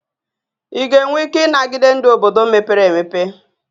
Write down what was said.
Ị ga-enwe ike ịnagide ndụ obodo mepere emepe?